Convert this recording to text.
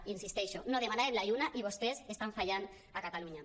hi insisteixo no demanàvem la lluna i vostès estan fallant a catalunya